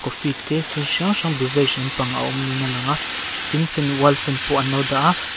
coffee te thil hrang hrang brevage lampang a awm niin alang a tin fan wall fan pawh an lo dah a.